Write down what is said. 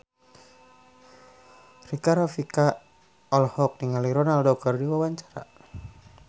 Rika Rafika olohok ningali Ronaldo keur diwawancara